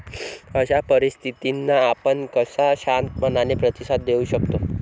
अशा परिस्थितींना आपण कसा शांत मनाने प्रतिसाद देऊ शकतो?